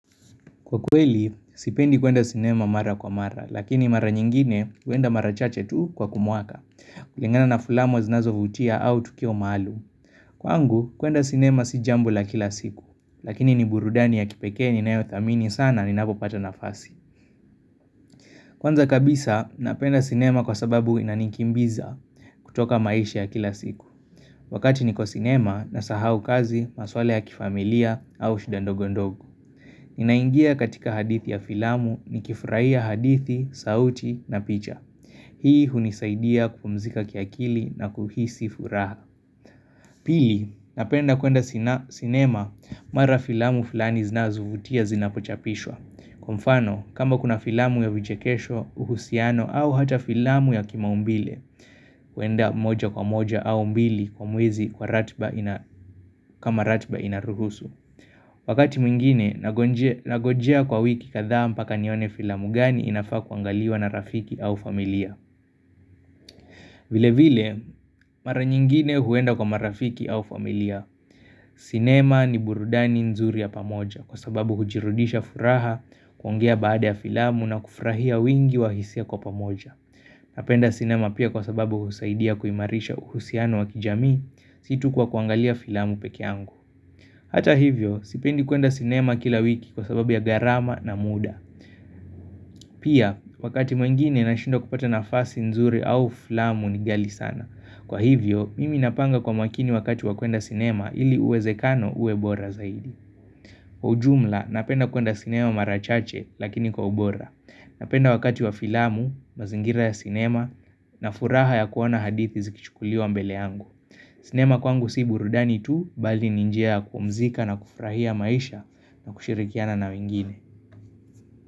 Kwa kweli, sipendi kuenda sinema mara kwa mara, lakini mara nyingine huenda mara chache tu kwa kumuaka, kulingana na fulamu zinazo vutia au tukio maalum. Kwa angu, kuenda sinema si jambo la kila siku, lakini ni burudani ya kipekee ni nayo thamini sana ni napopata nafasi. Kwanza kabisa, napenda sinema kwa sababu inanikimbiza kutoka maisha ya kila siku. Wakati niko sinema na sahau kazi, masuala ya kifamilia au shida ndogondogo. Ninaingia katika hadithi ya filamu ni kifurahia hadithi, sauti na picha Hii hunisaidia kupumzika kiakili na kuhisi furaha Pili, napenda kuenda sinema mara filamu filani zinazuvutia zinapochapishwa Kwa mfano, kama kuna filamu ya vichekesho, uhusiano au hata filamu ya kimaumbile kuenda moja kwa moja au mbili kwa mwizi kwa ratba inaruhusu Wakati mwingine, nagojea kwa wiki kadhaa mpaka nione filamu gani inafaa kuangaliwa na rafiki au familia vile vile, mara nyingine huenda kwa marafiki au familia sinema ni burudani nzuri ya pamoja Kwa sababu hujirudisha furaha kuongea baada ya filamu na kufrahia wingi wahisia kwa pamoja Napenda sinema pia kwa sababu husaidia kuimarisha uhusiano wa kijamii situ kwa kuangalia filamu peke yangu Hata hivyo, sipendi kuenda cinema kila wiki kwa sababu ya garama na muda. Pia, wakati mwingine nashindwa kupata na fasi nzuri au filamu nigali sana. Kwa hivyo, mimi napanga kwa makini wakati wa kuenda cinema ili uweze kano uwebora zaidi. Kwa ujumla napenda kuenda sinema marachache lakini kwa ubora Napenda wakati wa filamu, mazingira ya sinema na furaha ya kuona hadithi zikichukuliwa mbele yangu sinema kwangu si burudani tu bali ninjia kupumzika na kufrahia maisha na kushirikiana na wengine.